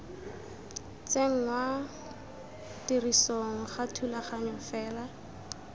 tsenngwa tirisong ga thulaganyo fela